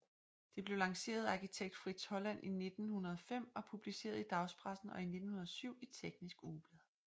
Det blev lanceret af arkitekt Fritz Holland i 1905 og publiceret i dagspressen og i 1907 i Teknisk Ugeblad